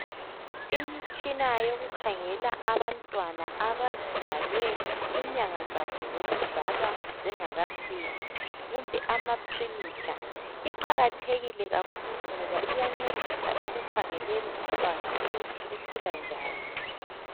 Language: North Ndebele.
Imitshina yokukhangela abantwana abazalwe inyanga zabo zokuzalwa zingakafiki kumbe ama Premature. Iqakathekile kakhulu ngoba iyancedisa ekukhangeleni umntwana ukuthi ukhula njani.